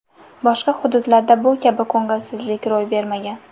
Boshqa hududlarda bu kabi ko‘ngilsizlik ro‘y bermagan.